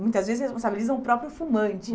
Muitas vezes, responsabilizam o próprio fumante.